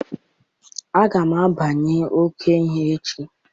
Aga m agbanwe ọkụ ihu echi.